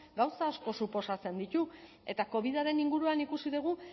gauza asko suposatzen ditu eta covidaren inguruan ikusi dugu